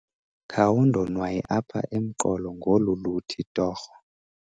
Khawundonwaye apha emqolo ngolu luthi torho.